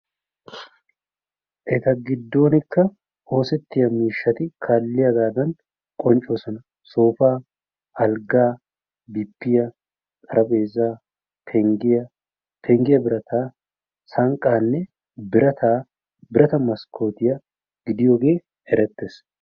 Eta giddonkka oosettiya miishshati kaaliyagaadan qonccoosona soofaa, Alggaa, bippiya, xarphpheezaa, penggiya, penggiya birataa, sanqqaanne birata maskkootiya gidiyogee erettees.